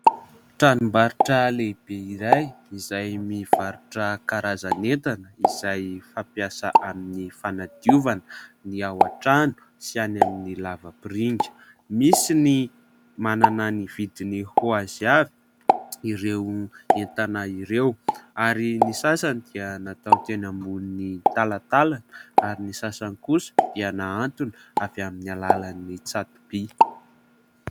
Tranom-barotra lehibe iray izay mivarotra karazan'entana izay fampiasa amin'ny fanadiovana ny ao antrano sy any amin'ny lavampiringa ; misy ny manana ny vidiny ho azy avy ireo entana ireo ; ary ny sasany dia natao teny ambonin'ny talatalana ary ny sasany kosa dia nahantona avy amin'ny alalan'ny tsato-by.